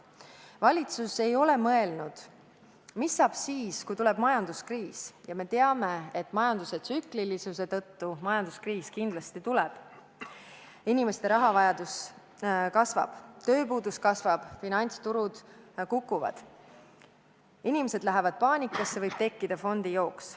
Valitsus ei ole mõelnud, mis saab siis, kui tuleb majanduskriis – ja me teame, et majanduse tsüklilisuse tõttu majanduskriis kindlasti tuleb –, inimeste rahavajadus kasvab, tööpuudus kasvab, finantsturud kukuvad, inimesed lähevad paanikasse, võib tekkida fondijooks.